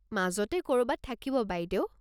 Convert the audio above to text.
মাজতে ক'ৰবাত থাকিব বাইদেউ।